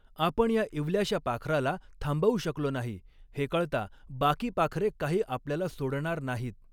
आपण या इवल्याश्या पाखराला थांबवु शकलॊ नाही, हे कळता बाकी पाखरे काही आपल्याला सॊडणार नाही.